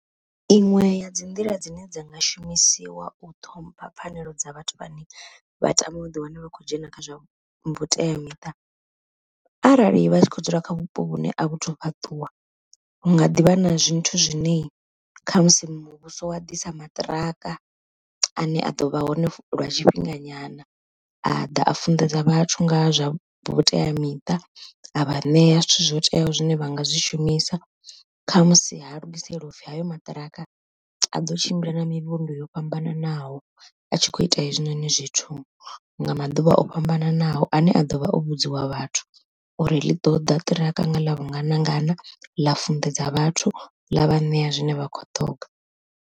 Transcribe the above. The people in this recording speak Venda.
Iṅwe ya dzi nḓila dzine dza nga shumisiwa u ṱhompha pfhanelo dza vhathu vhane vha tama u ḓi wana vha kho dzhena kha zwa vhuteamiṱa. Arali vha tshi kho dzula kha vhupo vhune a vhuthu fhaṱuwa hu nga ḓivha na zwithu zwine khamusi muvhuso wa ḓisa maṱiraka, ane a ḓovha hone lwa tshifhinga nyana, a ḓa a funḓedza vhathu nga zwa vhuteamiṱa a vha ṋea zwithu zwo teaho zwine vha nga zwi shumisa khamusi ha lugiselwa upfhi hayo maṱiraka a ḓo tshimbila na mivhundu yo fhambananaho, a tshi kho ita hezwinoni zwithu nga maḓuvha o fhambananaho ane a ḓovha o vhudziwa vhathu uri ḽi ḓoḓa ṱiraka nga ḽa vhungana ngana ḽa funḓedza vhathu ḽa vha ṋea zwine vha khou ṱonga.